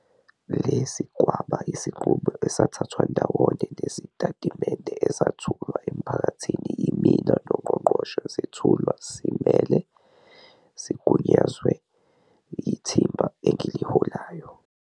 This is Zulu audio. Lesi kwaba yisinqumo esathathwa ndawonye nezitatimende ezethulwa emphakathini yimina noNgqongqoshe zethulwa simele, sigunyazwe, yithimba engiliholayo.